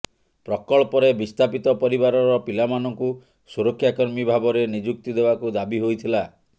ପ୍ରକଳ୍ପରେ ବିସ୍ଥାପିତ ପରିବାରର ପିଲାମାନଙ୍କୁ ସୁରକ୍ଷା କର୍ମୀ ଭାବରେ ନିଯୁକ୍ତି ଦେବାକୁ ଦାବି ହୋଇଥିଲା